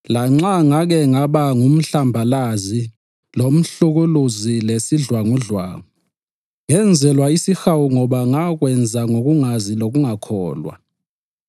Lanxa ngake ngaba ngumhlambazi, lomhlukuluzi, lesidlwangudlwangu, ngenzelwa isihawu ngoba ngakwenza ngokungazi langokungakholwa.